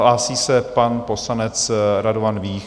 Hlásí se pan poslanec Radovan Vích.